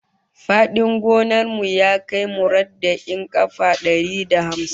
Fadin gonar mu ya kai murabba'in kafa dari da hamsin